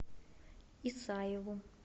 исаеву